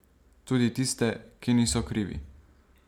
Tudi tiste, ki niso krivi.